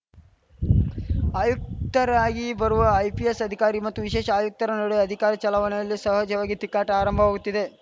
ಆಯುಕ್ತರಾಗಿ ಬರುವ ಐಪಿಎಸ್‌ ಅಧಿಕಾರಿ ಮತ್ತು ವಿಶೇಷ ಆಯುಕ್ತರ ನಡುವೆ ಅಧಿಕಾರ ಚಲಾವಣೆಯಲ್ಲಿ ಸಹಜವಾಗಿ ತಿಕ್ಕಾಟ ಆರಂಭವಾಗುತ್ತಿದೆ